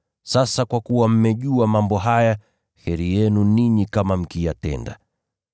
Sasa kwa kuwa mmejua mambo haya, heri yenu ninyi kama mkiyatenda.